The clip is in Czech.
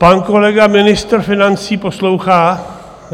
Pan kolega, ministr financí, poslouchá?